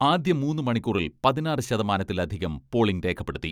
ആദ്യ മൂന്ന് മണിക്കൂറിൽ പതിനാറ് ശതമാനത്തിൽ അധികം പോളിംഗ് രേഖപ്പെടുത്തി.